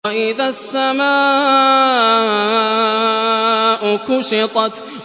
وَإِذَا السَّمَاءُ كُشِطَتْ